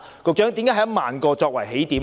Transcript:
局長，為何以1萬個作為起點呢？